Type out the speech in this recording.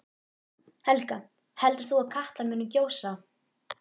Helga: Heldur þú að Katla muni gjósa?